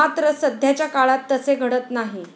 मात्र, सध्याच्या काळात तसे घडत नाही.